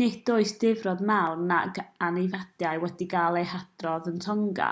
nid oes difrod mawr nac anafiadau wedi cael eu hadrodd yn tonga